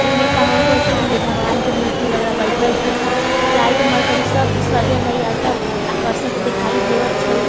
इ में कहवात हेय छै ने भगवान के मूर्ति वगेरा बैठल छै लाइट मर्करी सब सजल हेय अच्छा आकर्षक दिखाई देवत छै।